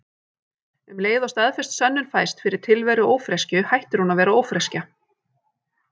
Um leið og staðfest sönnun fæst fyrir tilveru ófreskju hættir hún að vera ófreskja.